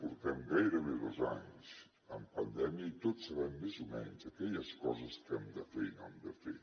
portem gairebé dos anys en pandèmia i tots sabem més o menys aquelles coses que hem de fer i no hem de fer